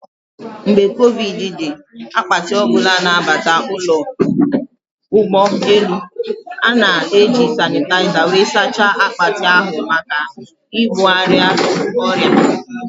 Mgbe covid dị, akpati ọbụla na abata ụlọ ụgbọ elu, a-ga eji sanịtaịza wee saachaa akpati ahụ maka ibugharị ọrịa